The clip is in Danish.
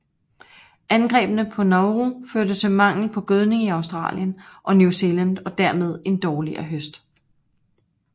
Angrebene på Nauru førte til mangel på gødning i Australien og New Zealand og dermed en dårligere høst